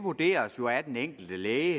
vurderes jo af den enkelte læge